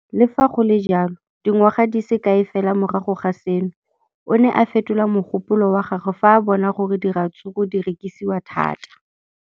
Le fa go le jalo, dingwaga di se kae fela morago ga seno, o ne a fetola mogopolo wa gagwe fa a bona gore diratsuru di rekisiwa thata.